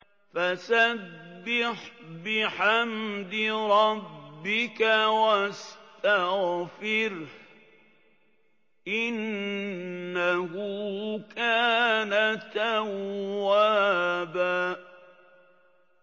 فَسَبِّحْ بِحَمْدِ رَبِّكَ وَاسْتَغْفِرْهُ ۚ إِنَّهُ كَانَ تَوَّابًا